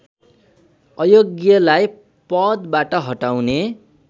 अयोग्यलाई पदबाट हटाउने